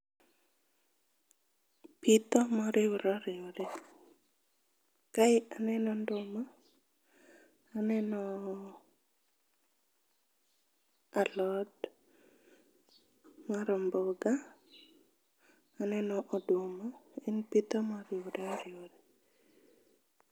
Pitho moriwre oriwre gi. Kae aneno nduma, aneno alot mar omboga, aneno oduma. En pitho moriwre oriwre.